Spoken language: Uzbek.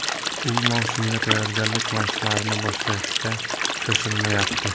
U mavsumga tayyorgarlik mashqlarini boshlashga shoshilmayapti.